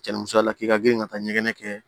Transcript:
Cɛnnimusoya la k'i ka girin ka taa ɲɛgɛn kɛ